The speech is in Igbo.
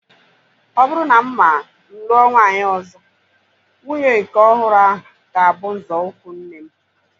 Ọ bụrụ na mma m lụọ nwaanyị ọzọ, nwunye nke ọhụrụ ahu ga-abụ nzọụkwụ nne m